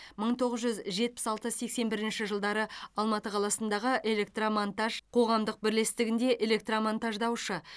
мың тоғыз жүз жетпіс алты сексен бірінші жылдары алматы қаласындағы электромонтаж қоғамдық бірлестігінде электромонтаждаушы